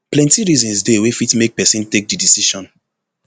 plenti reasons dey wey fit make pesin take di decision